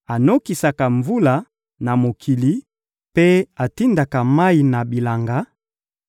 anokisaka mvula na mokili, mpe atindaka mayi na bilanga;